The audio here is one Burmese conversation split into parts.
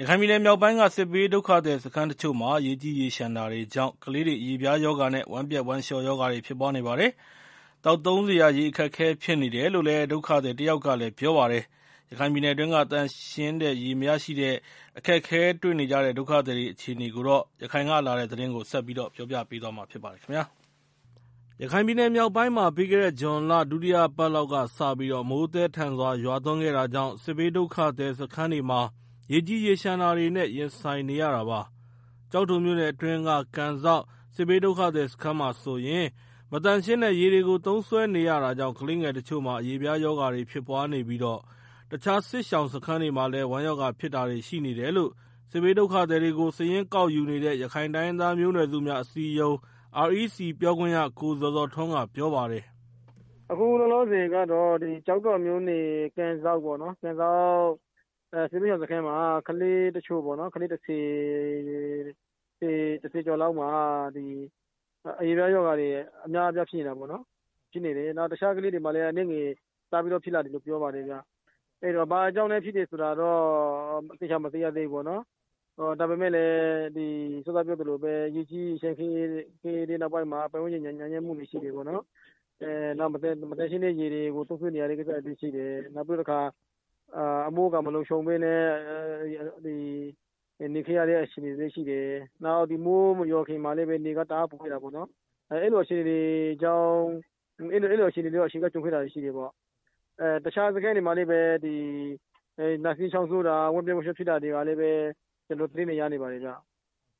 ရခိုင်ပြည်နယ်မြောက်ပိုင်းက စစ်ဘေးဒုက္ခသည်စခန်းတချို့မှာ ရေကြီးရေလျှံတာတွေတာကြောင့် ကလေးတွေ အရေပြားရောဂါနဲ့ ဝမ်းပျက်ဝမ်းလျှောရောဂါဖြစ်ပွားနေကြပါတယ်။ သောက်သုံးစရာ ရေအခက်အခဲဖြစ်နေတယ်လို့ ဒုက္ခသည်တယောက်ကလည်း ပြောပြပါတယ်။ ရခိုင်ပြည်နယ်အတွင်းက သန့်ရှင်းတဲ့ရေမရှိတဲ့အတွက် အခက်အခဲ တွေ့နေကြတဲ့ ဒုက္ခသည်တွေအခြေအနေ ရခိုင်ကလာတဲ့သတင်းကို ကိုရန်နိုင်ကပြောပြပါမယ်။ ရခိုင်ပြည်နယ်မြောက်ပိုင်းမှာ ပြီးခဲ့တဲ့ဇွန်လ ဒုတိယအပတ်လောက်ကစပြီး မိုးသည်းထန်စွာ ရွာသွန်းခဲ့တာကြောင့် စစ်ဘေးဒုက္ခသည်စခန်းတွေမှာ ရေကြီးရေလျှံတာတွေနဲ့ ရင်ဆိုင်နေရတာပါ။ ကျောက်တော်မြို့နယ်အတွင်းက ကန်စောက် စစ်ဘေးဒုက္ခသည်စခန်းမှာဆိုရင် မသန့်ရှင်းတဲ့ရေတွေကို သုံးစွဲနေရတာကြောင့် ကလေးငယ်တချို့မှာ အရေပြားရောဂါဖြစ်ပွားနေပြီး တခြား စစ်ရှောင်စခန်းတွေမှာလည်း ဝမ်းရောဂါဖြစ်တာတွေ ရှိနေတယ်လို့ စစ်ဘေးဒုက္ခသည်တွေကို စာရင်းကောက်ယူနေတဲ့ ရခိုင်တိုင်းရင်းသားမျိုးနွယ်စုများ အစည်းအရုံး REC ပြောခွင့်ရ ကိုဇော်ဇော်ထွန်းက ပြောပါတယ်။ “အခုလောလောဆယ် ကျောက်တော်က ကန်စောက် စစ်ရှောင်စခန်းမှာ ကလေး ၁၀ ယောက်ကျော်လောက် အရေပြားရောဂါတွေ အများအပြားရှိနေတယ်။နောက်တခြားကလေးတွေမှာလည်း အနည်းငယ် စပြီးတော့ ဖြစ်လာတယ်လို့ ပြောပါတယ်ခင်ဗျာ။ ဘာကြောင့်ဖြစ်တယ်ဆိုတာကိုတော့ သေချာမသိရသေးဘူးပေါ့နော်။ ရေကြီးရေလျှံခဲ့တဲ့နောက်ပိုင်းမှာ ပတ်ဝန်းကျင်ညစ်ညမ်းမှုတွေ ရှိတယ်ပေါ့နော်။ နောက် မသန့်ရှင်းတဲ့ ရေတွေကို သုံးစွဲနေရတဲ့ကိစ္စတွေလည်းရှိတယ်။ နောက်ပြီးတော့ အမိုးအကာ မလုံခြုံဘဲ နေခဲ့ရတဲ့ အချိန်တွေလည်းရှိတယ်။ နောက် မိုးမရွာခင်မှာလည်း နေက တအားပူခဲ့တာပေါ့နော်။ အဲလိုအခြေအနေတွေ ကြုံခဲ့တာတွေ ရှိတာပေါ့။ တခြားစခန်းတွေမှာလည်း နှာစေးချောင်းဆိုးတာတွေ ဝမ်းပျက် ဝမ်းလျှောဖြစ်တာတွေ ရှိတယ်လို့ ကျနော်တို့ သတင်းတွေ ရနေပါတယ်ဗျာ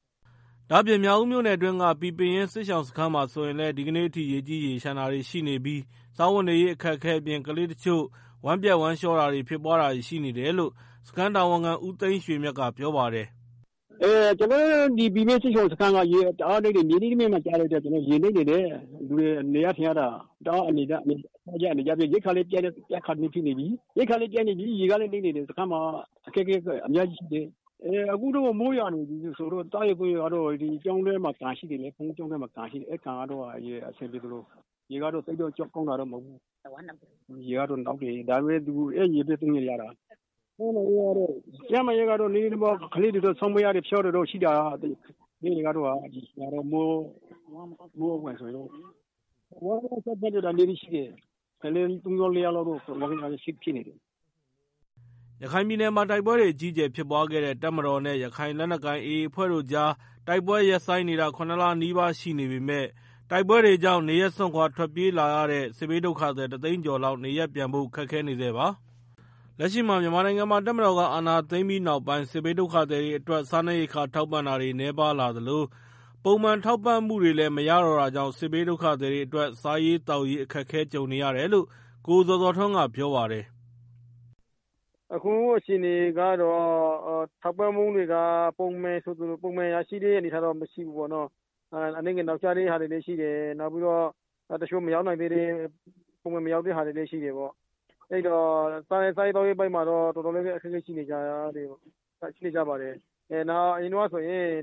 ။” ဒါ့အပြင် မြောက်ဦးမြို့နယ်အတွင်းက ပီပင်ရင်း စစ်ရှောင်စခန်းမှာဆိုရင်လည်း ဒီကနေ့အထိ ရေကြီးရေလျှံံတာတွေရှိနေပြီး စားဝတ်နေရေး အခက်အခဲအပြင် ကလေးတချို့ ဝမ်းပျက်ဝမ်းလျှာဖြစ်ပွားတာတွေ ရှိနေတယ်လို့ စခန်းတာဝန်ခံ ဦးသိန်းရွှေမြတ်က ပြောပါတယ်။ “ကျနော်တို့ ပီပင်ရင်း စစ်ရှောင်စခန်းကတော့ ရေက တအားမြုပ်နေတယ်။ မြေနိမ့်ပိုင်းမှာကျတော့ ရေနစ်နေတာ။ လူတွေ နေရထိုင်ရတာ အနေကျပ်တယ်။ ရိက္ခာလည်းပြတ်နေပြီ ရေကလည်း နစ်နေပြီ စခန်းမှာအခက်အခဲ အများကြီးရှိတယ်။ အခုက မိုးရွာနေတော့ သောက်ရေသုံးရေက ကျောင်းထဲမှာ ကန်ရှိတယ်လေ ရေကတော့ သိပ်ကောင်းတာ မဟုတ်ဘူး ရေကတော့ နောက်နေတယ်။ အဲဒီရေပဲ အဆင်ပြေသလို သုံးနေရတာ။ ကျန်းမာရေးကတော့ ကလေးတွေ နှာစေး ဖျားနာတာတွေရှိတယ်။ ဝမ်းပျက်ဝမ်းလျှော ဖြစ်နေတာတွေလည်း ရှိ တယ်။ သုံးလေးယောက်လောက်တော့ ဖြစ်နေကြတယ်။” ရခိုင်ပြည်နယ်မှာ တိုက်ပွဲအကြီးအကျယ်ဖြစ်ပွားခဲ့တဲ့ တပ်မတော်နဲ့ ရခိုင်လက်နက်ကိုင် AA အဖွဲ့တို့ကြား တိုက်ပွဲ ရပ်ဆိုင်းနေတာ ၇ လနီးပါးရှိနေပေမယ့် တိုက်ပွဲတွေကြောင့် နေရပ်စွန့်ခွာ ထွက်ပြေးလာရတဲ့ စစ်ဘေးဒုက္ခသည် တသိန်းကျော်လောက် နေရပ်ပြန်ဖို့ ခက်ခဲနေဆဲပါ။ လက်ရှိ မြန်မာနိုင်ငံမှာ တပ်မတော်က အာဏာသိမ်းပြီးနောက်ပိုင်း စစ်ဘေးဒုက္ခသည်တွေအတွက် စားနပ်ရိက္ခာ ထောက်ပံ့တာတွေ နည်းပါးလာသလို ပုံမှန်ထောက်ပံ့မှုတွေလည်း မရတော့တာကြောင့် စစ်ဘေးဒုက္ခသည်တွေအတွက် စားရေးသောက်ရေး အခက်ကြုံနေရတယ်လို့လည်း ကိုဇော်ဇော်ထွန်းက ပြောပါတယ်။ “အခုအခြေအနေက ထောက်ပံံ့ကြေးတွေက ပုံမှန်ရရှိတဲ့ အနေအထားတော့ မရှိဘူးပေါ့နော်။ တချို့ ပုံမှန်မရောက်တဲ့ဟာတွေလည်း ရှိတယ်ပေါ့ အဲတော့ စားရေးသောက်ရေးပိုင်းမှာတော့ တော်တော်လည်း အခက်အခဲဖြစ်နေကြတယ်။ အရင်ကဆိုရင်တော့ မရှိရင် အ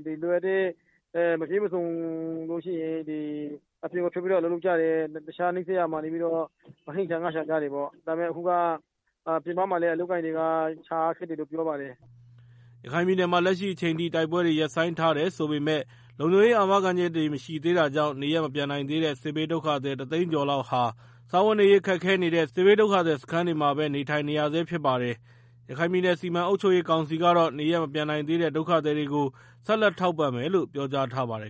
ပြင်မှာထွက်ပြီး အလုပ်လုပ်ကြတယ်။ ဟင်းရှာငါးရှာပြီး စားကြတယ်။ အခုက အလုပ်အကိုင်ကလည်း ရှာရခက်တယ်လို့ ပြောကြတယ်။” ရခိုင်ပြည်နယ်မှာ လက်ရှိအချိန်ထိ တိုက်ပွဲတွေ ရပ်ဆိုင်းထားတယ်ဆိုပေမယ့် လုံခြုံရေးအာမခံချက်တွေ မရှိသေးတာကြောင့် နေရပ်မပြန်နိုင်သေးတဲ့ စစ်ဘေးဒုက္ခသည် တသိန်းကျော်လောက်ဟာ စားဝတ်နေရေး ခက်ခဲနေတဲ့ စစ်ဘေးဒုက္ခသည်စခန်းတွေမှာပဲ နေထိုင်နေရဆဲဖြစ်ပါတယ်။ ရခိုင်ပြည်နယ် စီမံအုပ်ချုပ်ရေးကောင်စီကတော့ နေရပ်မပြန်နိုင်သေးတဲ့ ဒုက္ခသည်တွေကို ဆက်လက်ထောက်ပံ့မယ်လို့ ပြောကြားထားပါတယ်